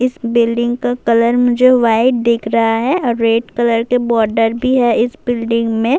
اسس بلڈنگ کا کلر مجھے وائٹ دکھ رہا ہے، ریڈ کلر کا بورڈ بھی ہے اسس بلڈنگ مے-